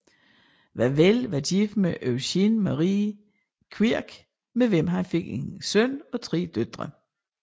Wavell var gift med Eugenie Marie Quirk med hvem han fik en søn og tre døtre